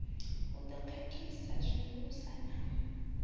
hu ḓo khakhisa zwihulusa na